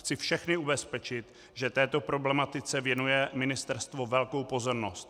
Chci všechny ubezpečit, že této problematice věnuje ministerstvo velkou pozornost.